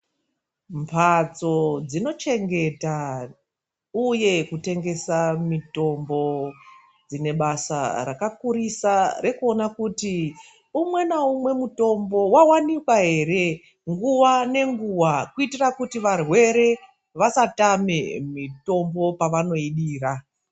Mhatso dzinochengeta, uye kutengesa mitombo dzine basa rakakurisa rekuona kuti umwe naumwe mutombo wawanikwa ere nguwa nenguwa, kuitira kuti varwere vasatame mitombo pavanoidira.